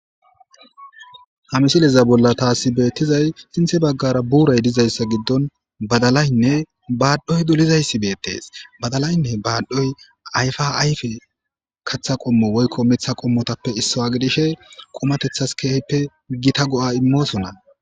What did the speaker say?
ha misileza bolla taasi beettizay sinthe baggara buuray dizayssa giddon badalaynne baadhoy dolizayssi beettes badalaynne baaddhoy ayfa ayfe katha qommo woykko miththa qommotappe issawa gidishe qomatethas keehippe gita go7a immoosona